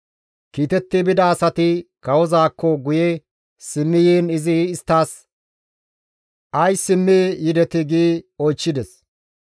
Kiitetti bida asati kawozaakko guye simmi yiin izi isttas, «Ays simmi yidetii?» gi oychchides.